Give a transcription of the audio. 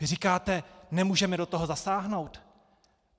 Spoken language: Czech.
Vy říkáte - nemůžeme do toho zasáhnout.